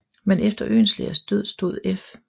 Men efter Oehlenschlägers død stod F